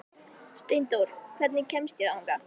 Steindór, hvernig kemst ég þangað?